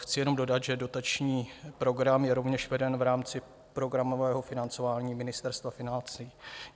Chci jenom dodat, že dotační program je rovněž veden v rámci programového financování Ministerstva financí.